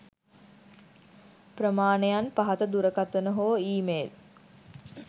ප්‍රමාණයන් පහත දුරකථන හෝ ඊ මේල්